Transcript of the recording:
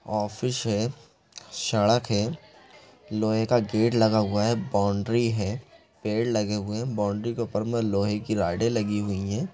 Office है सड़क है लोहे का गेट लगा हुआ है बॉउंड्री है पेड़ लगे हुए है बॉउंड्री के ऊपर मे लोहे की रडे लगी हुई हैं।